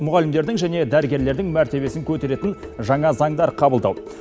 мұғалімдердің және дәрігерлердің мәртебесін көтеретін жаңа заңдар қабылдау